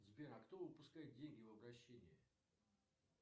сбер а кто выпускает деньги в обращение